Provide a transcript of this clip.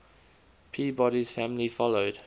peabody's family followed